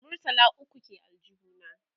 murtala ukwu ke aljihu na